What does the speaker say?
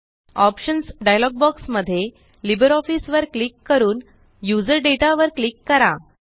options dialog box मध्ये LibreOfficeवर click करून यूझर Dataवर क्लिक करा